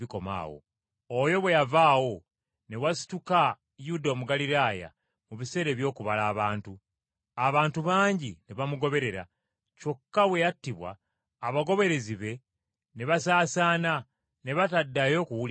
Oyo bwe yavaawo ne wasituka Yuda Omugaliraaya mu biseera eby’okubala abantu. Abantu bangi ne bamugoberera, kyokka bwe yattibwa, abagoberezi be ne basaasaana ne bataddayo kuwulikikako.